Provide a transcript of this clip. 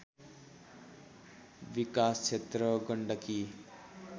विकास क्षेत्र गण्डकी